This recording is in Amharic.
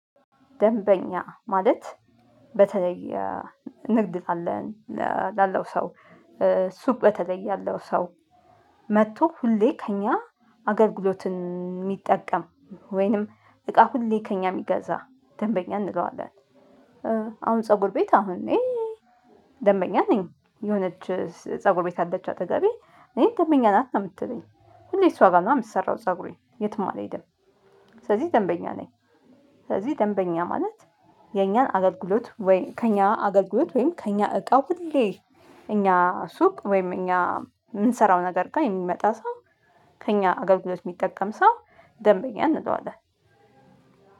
ደንበኛ ማለት በተለይ ንግድ ካለን ላለው ሰው ሱቅ በተለየ ያለው ሰው መጥቶ ሁሌ ከእኛ አገልግሎትን የሚጠቀም ወይንም እቃ ሁሌ ከእኛ የሚገዛ ደንበኛ እንለዋለን። አሁን ፀጉር ቤት አሁን እኔ ደንበኛ ነኝ የሆነች ፀጉር ቤት አለች አጠገቤ እኔ ደንበኛ ናት ነው የምትለኝ ሁሌ እሷ ጋር ነው የምሰራው ፀጉሬ የትም አልሄድም ስለዚህ ደንበኛ ነኝ። ስለዚህ ደንበኛ ማለት የኛን አገልግሎት ወይ ከኛ አገልግሎት ወይም ከኛ እቃ ሁሌ እኛ ሱቅ ወይም እኛ የምንሰራው ነገር ጋር የሚመጣ ሰው ከእኛ አገልግሎት የሚጠቀም ሰው ደንበኛ እንለዋለን።